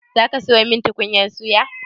Za ka sayo min tukunyar suya?